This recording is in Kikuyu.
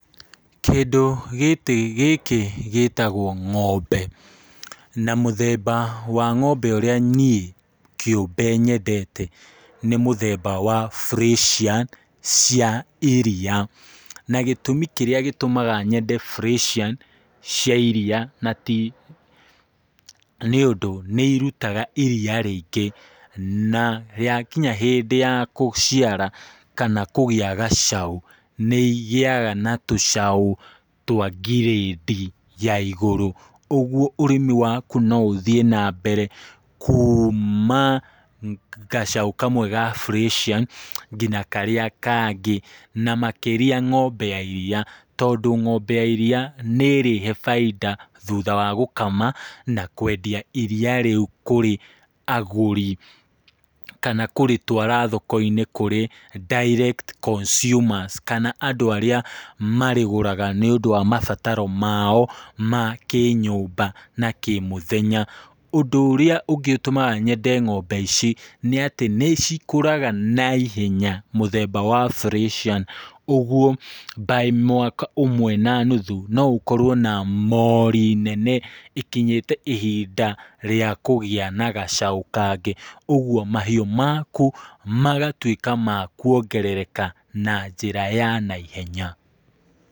Kĩndũ gĩkĩ gĩtagwo ng'ombe na mũthemba wa ngómbe ũrĩa niĩ kĩũmbe nyendete nĩ mũthemba wa Freshian cia iria. Na gĩtũmĩ kĩrĩa gĩtũmaga nyende Freshian cia iria na ti nĩ ũndũ nĩ irutaga iria rĩingĩ. Na ya kinya hĩndĩ ya gũciara kana kũgĩa tũcaũ, nĩ igĩaga na tũcaũ twa ngirĩndi ya igũrũ. Ũguo ũrĩmi waku no ũthiĩ naigũrũ kuuma gacaũ kamwe ga Freshian nginya karĩa kangĩ na makĩria ng'ombe ya iria. Tondũ ng'ombe ya iria nĩ ĩrĩhe baita thutha wa gũkama na kwendia iria rĩu kũrĩ agũri, kana kũrĩtwara thoko-inĩ nĩ ũndũ wa direct consumers kana andũ arĩa marĩgũraga nĩ ũndũ wa mabatao mao ma kĩnyũmba na kĩmũthenya. Ũndũ ũrĩa ũngĩ ũtũmaga nyende ng'ombe ici nĩ atĩ nĩcikũraga naihenya mũthemba wa Freshian. Ũguo by mwaka ũmwe na nuthu no ũkorwo na mori nene ĩkinyĩte ihinda rĩa kũgĩa na gacaũ kangĩ. Ũguo mahiũ maku magatuĩka ma kuongerereka na njĩra ya naihenya.